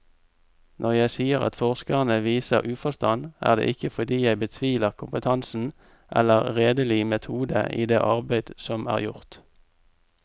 Når jeg sier at forskerne viser uforstand, er det ikke fordi jeg betviler kompetansen eller redelig metode i det arbeid som er gjort.